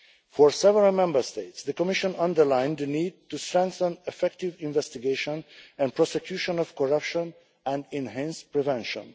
For several Member States, the Commission underlined the need to strengthen the effective investigation and prosecution of corruption and enhance prevention.